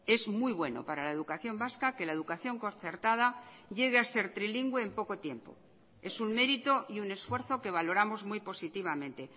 es muy bueno para la educación vasca que la educación concertada llegue a ser trilingüe en poco tiempo es un mérito y un esfuerzo que valoramos muy positivamente